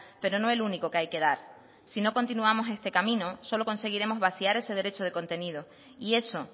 pero no el único que hay que dar si no continuamos este camino solo conseguiremos vaciar ese derecho de contenido y eso